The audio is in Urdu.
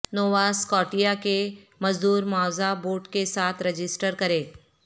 نووا سکاٹیا کے مزدور معاوضہ بورڈ کے ساتھ رجسٹر کریں